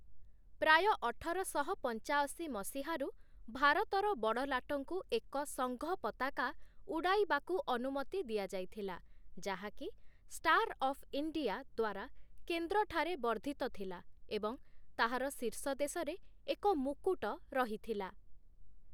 ପ୍ରାୟ ଅଠରଶହ ପଞ୍ଚାଅଶୀ ମସିହାରୁ, ଭାରତର ବଡ଼ଲାଟଙ୍କୁ ଏକ ସଂଘ ପତାକା ଉଡ଼ାଇବାକୁ ଅନୁମତି ଦିଆଯାଇଥିଲା ଯାହାକି, 'ଷ୍ଟାର୍ ଅଫ୍ ଇଣ୍ଡିଆ' ଦ୍ଵାରା କେନ୍ଦ୍ରଠାରେ ବର୍ଦ୍ଧିତ ଥିଲା ଏବଂ ତାହାର ଶୀର୍ଷ ଦେଶରେ ଏକ ମୁକୁଟ ରହିଥିଲା ।